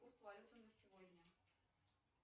курс валюты на сегодня